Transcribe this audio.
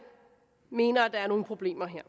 mener at der er nogle problemer her